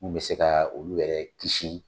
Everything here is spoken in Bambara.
Mun bɛ se ka olu yɛrɛ kisi.